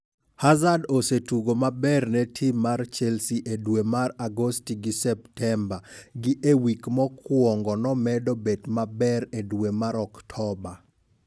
"Hazard osetugo maber ne tim mar Chelsea e dwe mar Agosti gi Septemba gi e wik kokwongo nomedo bedo maber e dwe mar Oktoba